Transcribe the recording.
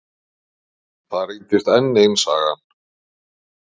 Það reyndist enn ein sagan.